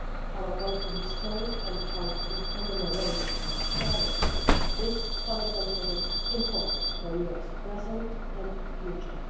Our collective history and how we commemorate and share it is fundamentally important for Europe's present and future.